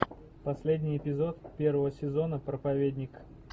последний эпизод первого сезона проповедник